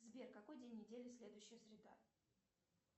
сбер какой день недели следующая среда